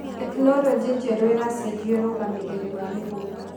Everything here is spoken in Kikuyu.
Tekinoronjĩ njerũ ĩracenjia ũrũgamĩrĩri wa mĩgunda.